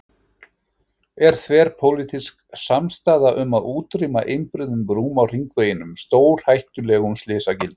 Er ekki þverpólitísk samstaða um að útrýma einbreiðum brúm á hringveginum, stórhættulegum slysagildrum?